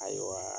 Ayiwa